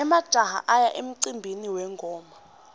emajaha aya emcimbini wengoma